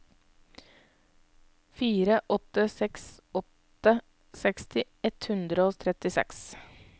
fire åtte seks åtte seksti ett hundre og trettiseks